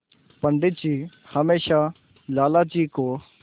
पंडित जी हमेशा लाला जी को